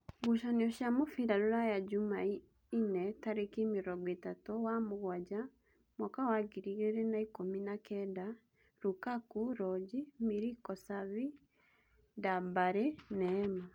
Ngucanio cia mũbira Ruraya Jumaine tarĩki mĩrongoĩtatu wa-mũgwanja mwaka wa ngiri igĩrĩ na ikũmi na kenda: Rukaku, Roji, Miliko-Savi, Ndambala, Neema.